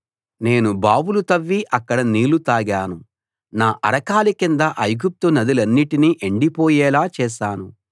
నేను బావులు తవ్వి అక్కడి నీళ్లు తాగాను నా అరకాలి కింద ఐగుప్తు నదులన్నిటిని ఎండిపోయేలా చేశాను